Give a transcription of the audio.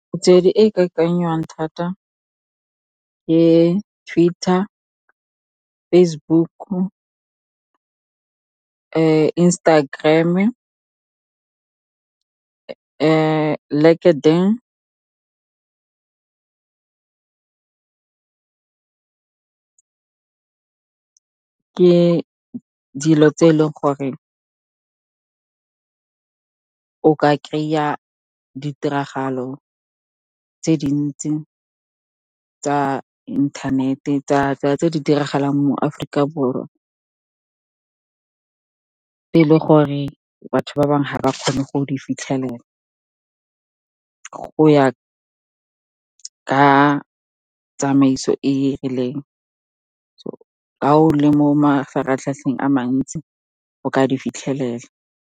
Metswedi e ikakangwang thata ke Twitter, Facebook-u, Instagram-e, . Ke dilo tse e leng gore o ka kry-a ditiragalo tse dintsi tsa inthanete, tse di diragalang mo Aforika Borwa. Gore batho ba bangwe ga ba kgone go di fitlhelela, go ya ka tsamaiso e e rileng. Ga o le mo mafaratlhatlheng a mantsi, o ka di fitlhelela.